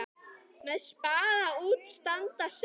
Með spaða út standa sex.